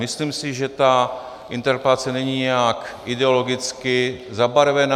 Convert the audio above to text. Myslím si, že ta interpelace není nijak ideologicky zabarvená.